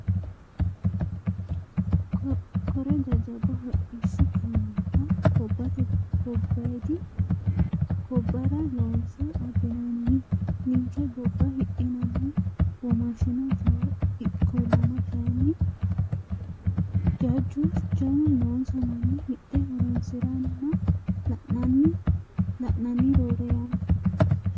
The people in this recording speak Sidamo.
Kore jajjabba hodhishshu kaameella gobbate gobbadi gobbara loonse abbinanni ninke gobba hidhinanni womaashino jawaho ikkollanna kayinni jajju jawu noonsa manni hidhe horonsiranna la'nanni roore yanna.